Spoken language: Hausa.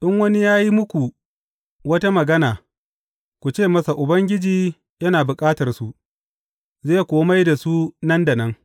In wani ya yi muku wata magana, ku ce masa Ubangiji yana bukatarsu, zai kuwa mai da su nan da nan.